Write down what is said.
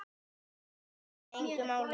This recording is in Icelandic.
Það skiptir mig engu máli.